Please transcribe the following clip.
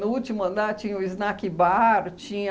No último andar tinha o snack bar, tinha...